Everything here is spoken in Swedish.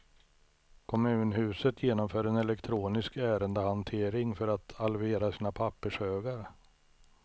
Kommunhuset genomför en elektronisk ärendehantering för att halvera sina pappershögar.